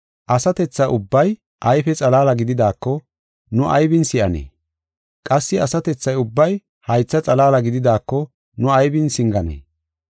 Asatetha ubbay ayfe xalaala gididaako, nu aybin si7anee? Qassi asatethi ubbay haytha xalaala gididaako nu aybin singanee?